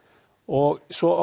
og svo